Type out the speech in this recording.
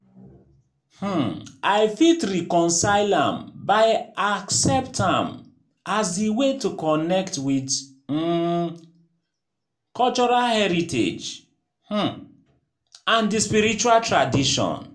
um I fit reconcile am by accept am as di way to connect with um cultural heritage um and di sprirtual tradition.